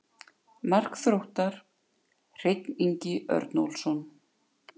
Mark Þróttar: Hreinn Ingi Örnólfsson.